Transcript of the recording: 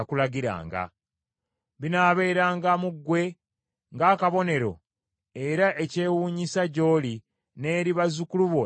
Binaabeeranga mu ggwe ng’akabonero era ekyewuunyisa gy’oli n’eri bazzukulu bo emirembe gyonna.